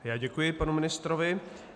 Já děkuji panu ministrovi.